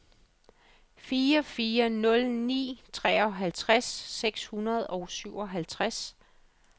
fire fire nul ni treoghalvtreds seks hundrede og syvoghalvtreds